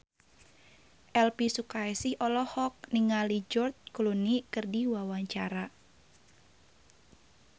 Elvi Sukaesih olohok ningali George Clooney keur diwawancara